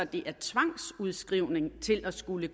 det er tvangsudskrivning til at skulle